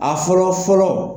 A fɔlɔ fɔlɔ